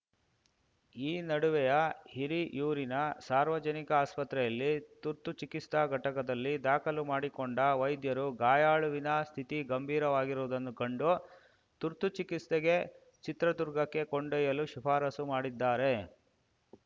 ಈ ನಡುವೆಯ ಹಿರಿಯೂರಿನ ಸಾರ್ವಜನಿಕ ಆಸ್ಪತ್ರೆಯಲ್ಲಿ ತುರ್ತು ಚಿಕಿಸ್ತಾ ಘಟಕದಲ್ಲಿ ದಾಖಲು ಮಾಡಿಕೊಂಡ ವೈದ್ಯರು ಗಾಯಾಳುವಿನ ಸ್ಥಿತಿ ಗಂಭೀರವಾಗಿರುವುದನ್ನು ಕಂಡು ತುರ್ತು ಚಿಕಿಸ್ತೆಗೆ ಚಿತ್ರದುರ್ಗಕ್ಕೆ ಕೊಂಡೊಯ್ಯಲು ಶಿಫಾರಸ್ಸು ಮಾಡಿದ್ದಾರೆ